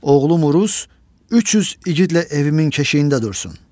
Oğlum Uruz 300 igidlə evimin keşiyində dursun.